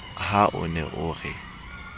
ha o ne o re